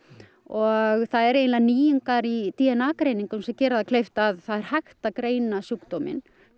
og það eru eiginlega nýjungar í d n a greiningum sem gera það kleift að það er hægt að greina sjúkdóminn